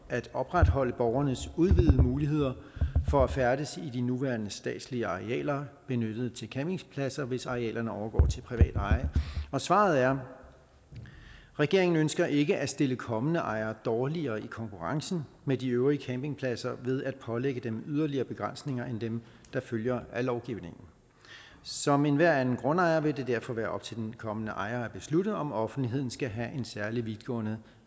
at opretholde borgernes udvidede muligheder for at færdes i de nuværende statslige arealer benyttet til campingpladser hvis arealerne overgår til privat eje svaret er regeringen ønsker ikke at stille kommende ejere dårligere i konkurrencen med de øvrige campingpladser ved at pålægge dem yderligere begrænsninger end dem der følger af lovgivningen som enhver anden grundejer vil det derfor være op til den kommende ejer at beslutte om offentligheden skal have en særlig vidtgående